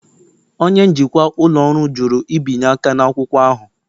Onye njikwa ụlọ ọrụ jụrụ ibinye aka n'akwụkwọ ahụ.